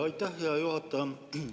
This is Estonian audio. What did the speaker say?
Aitäh, hea juhataja!